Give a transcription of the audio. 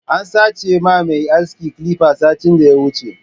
An sache ma mai aski clipper satin da ta wuche.